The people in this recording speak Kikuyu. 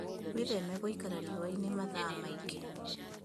Wĩtheme gũikara rĩũa-inĩ mathaa maingĩ